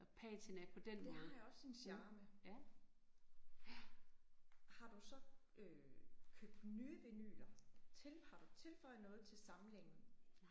Det har jo også sin charme. Har du så øh købt nye vinyler til har du tilføjet noget til samlingen?